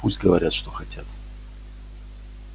пусть говорят что хотят